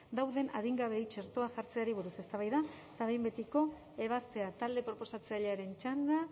dauden adingabeei txertoa jartzeari buruz eztabaida eta behin betiko ebazpena talde proposatzailearen txanda